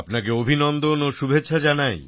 আপনাকে অভিনন্দন ও শুভেচ্ছা জানাই